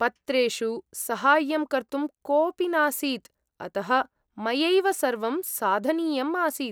पत्रेषु सहाय्यं कर्तुं कोऽपि नासीत्, अतः मयैव सर्वं साधनीयम् आसीत्।